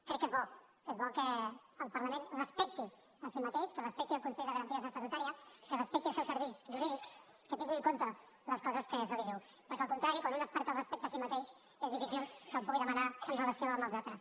crec que és bo és bo que el parlament es respecti a si mateix que respecti el consell de garanties estatutàries que respecti els seus serveis jurídics que tingui en compte les coses que se li diuen perquè al contrari quan un es perd el respecte a si mateix és difícil que el pugui demanar amb relació als altres